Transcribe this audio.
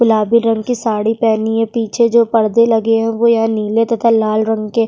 गुलाबी रंग की साड़ी पहनी है पीछे जो परदे लगे हैं वो या नीले तथा लाल रंग के --